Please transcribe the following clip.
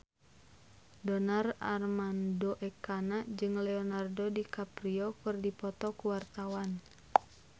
Donar Armando Ekana jeung Leonardo DiCaprio keur dipoto ku wartawan